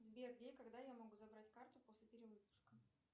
сбер где и когда я могу забрать карту после перевыпуска